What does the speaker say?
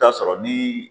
Taa sɔrɔ ni